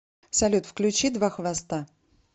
салют включи два хвоста